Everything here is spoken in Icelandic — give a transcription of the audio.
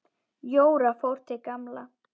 Jóra fór til Gamla.